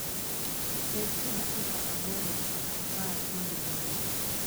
Ted e dakika aboro nyaka apar mabed mayom